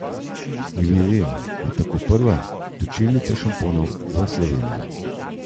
Ilirija je tako prva točilnica šamponov v Sloveniji.